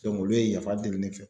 olu ye yafa deli ne fɛ.